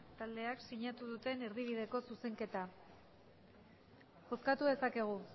taldeak sinatu duten erdibideko zuzenketa bozkatu dezakegu